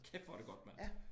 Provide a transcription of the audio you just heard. Kæft hvor det godt mand